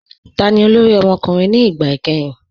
Táni olórí ọmọkùnrin ni ìgbà ikẹ̀hìn?